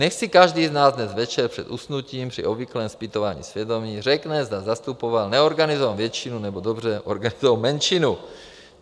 - Nechť si každý z nás dnes večer před usnutím při obvyklém zpytování svědomí řekne, zda zastupoval neorganizovanou většinu, nebo dobře organizovanou menšinu.